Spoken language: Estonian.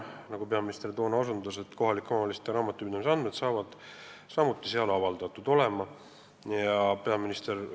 Nagu peaminister toona osutas, on eesmärk hakata seal avaldama ka kohalike omavalitsuste raamatupidamisandmeid.